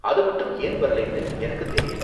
அது மட்டும் ஏன் வரலைன்னு எனக்குத் தெரியல.